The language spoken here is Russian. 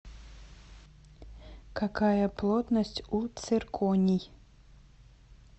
какая плотность у цирконий